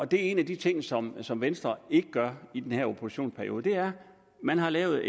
det er en af de ting som som venstre ikke gør i denne oppositionsperiode man har lavet